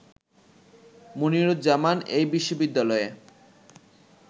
মুনিরুজ্জামান এই বিশ্ববিদ্যালয়ে